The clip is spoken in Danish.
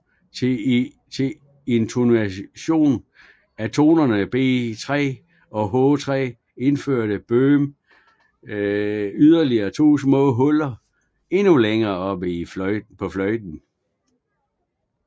Til intonation af tonerne B3 og H3 indførte Böhm yderligere to små huller endnu længere oppe på fløjten